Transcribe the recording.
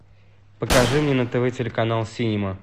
покажи мне на тв телеканал синема